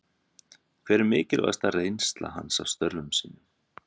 Hver er mikilvægasta reynsla hans af störfum sínum?